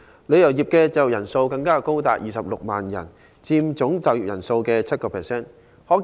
旅遊業的就業人數更高達26萬人，約佔總就業人數的 7%。